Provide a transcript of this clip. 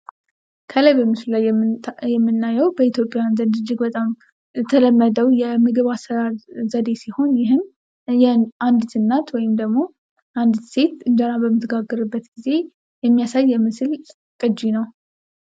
ከላይ በምስሉ ላይ የምናየው በኢትዮጵያ እጅግ በጣም የተለመደው አሰራር ዘዴ ሲሆን ይህም የአንድት እናት ወይም ደግሞ አንድት ሴት እንጀራ በምትመረጥበት ጊዜ የሚያሳይ የምስል ቅጅ ነው።